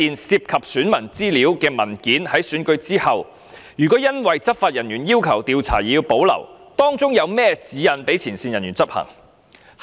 涉及選民資料的文件，如果在選舉後因執法人員要求調查而保留，有何指引讓前線人員執行？